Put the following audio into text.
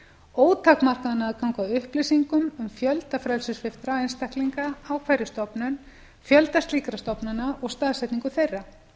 ótakmarkaðan aðgang að upplýsingum um fjölda frelsissviptra einstaklinga á slíkri stofnun fjölda slíkra stofnana og staðsetningu þeirra